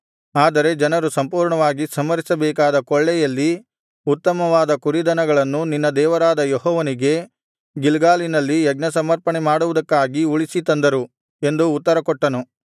ಆದರೆ ಜನರು ಸಂಪೂರ್ಣವಾಗಿ ಸಂಹರಿಸಬೇಕಾದ ಕೊಳ್ಳೆಯಲ್ಲಿ ಉತ್ತಮವಾದ ಕುರಿದನಗಳನ್ನು ನಿನ್ನ ದೇವರಾದ ಯೆಹೋವನಿಗೆ ಗಿಲ್ಗಾಲಿನಲ್ಲಿ ಯಜ್ಞಸಮರ್ಪಣೆಮಾಡುವುದಕ್ಕಾಗಿ ಉಳಿಸಿ ತಂದರು ಎಂದು ಉತ್ತರಕೊಟ್ಟನು